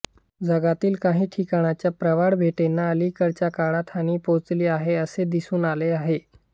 जगातील काही ठिकाणच्या प्रवाळबेटांना अलीकडच्या काळात हानी पोचली आहे असे दिसून आले आहे